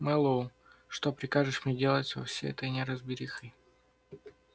мэллоу что прикажешь мне делать со всей этой неразберихой